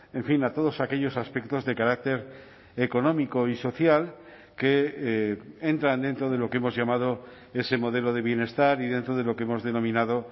en fin a todos aquellos aspectos de carácter económico y social que entran dentro de lo que hemos llamado ese modelo de bienestar y dentro de lo que hemos denominado